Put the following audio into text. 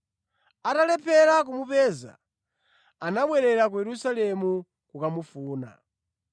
Atalephera kumupeza, anabwerera ku Yerusalemu kukamufuna.